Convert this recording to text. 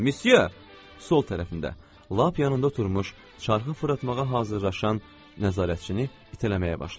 Sol tərəfində lap yanında oturmuş çarxı fırlatmağa hazırlaşan nəzarətçini itələməyə başladı.